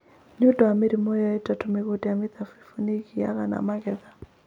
Nĩ ũndũ wa mĩrimũ ĩyo ĩtatũ, mĩgũnda ya mĩthabibũ nĩ ĩgĩaga na magetha.